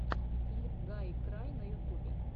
клип гайкрай на ютубе